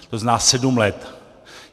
To znamená sedm let.